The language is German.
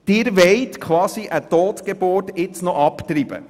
Sie wollen nun quasi eine Totgeburt abtreiben.